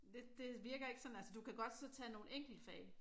Det virker ikke sådan altså du kan godt så tage nogle enkeltfag